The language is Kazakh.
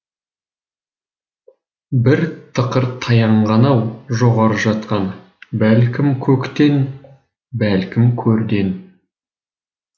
бір тықыр таянған ау жоғары жақтан бәлкім көктен бәлкім көрден